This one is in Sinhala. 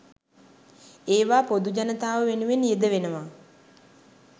ඒවා පොදු ජනතාව වෙනුවෙන් යෙදවෙනවා.